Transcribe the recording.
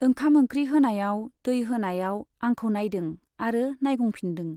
ओंखाम ओंख्रि होनायाव , दै होनायाव आंखौ नाइदों आरो नाइगंफिनदों।